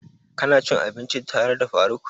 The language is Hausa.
Ka na cin abinci tare da faruk?